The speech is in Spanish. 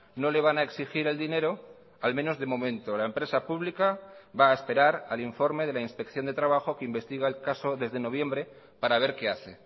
no le van a exigir el dinero al menos de momento la empresa pública va a esperar al informe de la inspección de trabajo que investiga el caso desde noviembre para ver qué hace